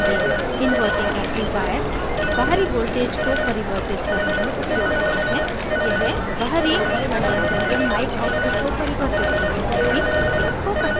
inverting amplifier बाहरी voltages को परिवर्धित amplifier करने में उपयोग होता है यह बाहरी condenser या mic output को परिवर्धित करने में भी उपयोग हो सकता है